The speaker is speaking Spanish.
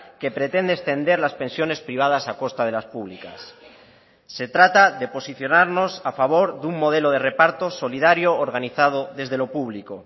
que pretende extender las pensiones privadas a costa de las públicas se trata de posicionarnos a favor de un modelo de reparto solidario organizado desde lo público